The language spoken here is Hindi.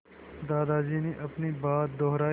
दादाजी ने अपनी बात दोहराई